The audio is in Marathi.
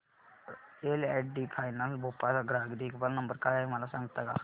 L and T finance Bhopal चा ग्राहक देखभाल नंबर काय आहे मला सांगता का